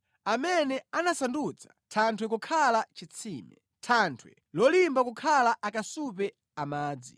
amene anasandutsa thanthwe kukhala chitsime, thanthwe lolimba kukhala akasupe a madzi.